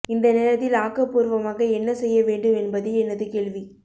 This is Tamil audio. இந்த நேரத்தில் ஆக்கபூர்வமாக என்ன செய்ய வேண்டும் என்பதே எனது கேள்வி